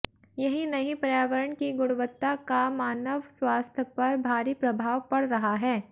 यही नहीं पर्यावरण की गुणवत्ता का मानव स्वास्थ्य पर भारी प्रभाव पड़ रहा है